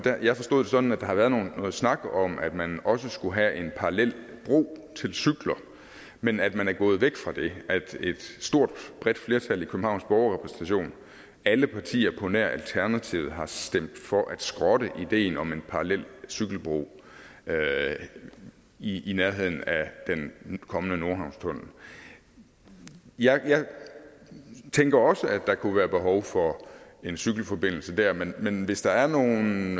jeg forstod det sådan at der har været noget snak om at man også skulle have en parallel bro til cykler men at man er gået væk fra det altså at et stort bredt flertal i københavns borgerrepræsentation alle partier på nær alternativet har stemt for at skrotte ideen om en parallel cykelbro i i nærheden af den kommende nordhavnstunnel jeg tænker også at der kunne være behov for en cykelforbindelse der men men hvis der er nogle